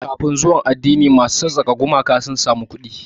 Kafin zuwan addini, masu sassaka gumaka sun samu kuɗi.